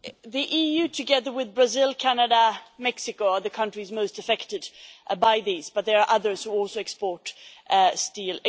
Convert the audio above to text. The EU, together with Brazil, Canada and Mexico, are the countries most affected by this, but there are others who also export steel.